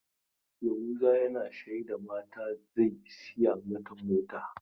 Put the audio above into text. Yahuza yana shaida mata zai saya mata mota.